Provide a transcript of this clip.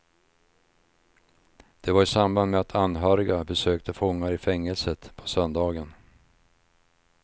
Det var i samband med att anhöriga besökte fångar i fängelset på söndagen.